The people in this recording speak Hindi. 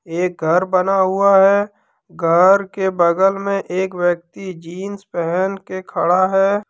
एक घर बना हुआ है घर के बगल में एक व्यक्ति जींस पहन के खड़ा है।